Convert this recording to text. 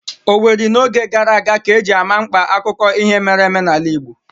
Owerri n'oge gara aga ka eji ama mkpa akụkọ ihe mere eme n'ala Igbo